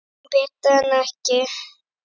En betra en ekkert.